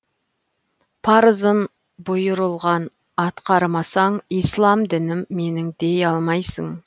парызын бұйырылған атқармасаң ислам дінім менің дей алмайсың